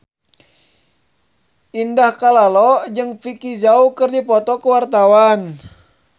Indah Kalalo jeung Vicki Zao keur dipoto ku wartawan